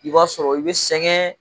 I b'a sɔrɔ i be sɛgɛn